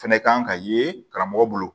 Fɛnɛ kan ka ye karamɔgɔ bolo